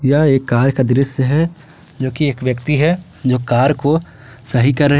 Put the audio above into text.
यह एक कार का दृश्य है जो कि एक व्यक्ति है जो कार को सही कर रहे--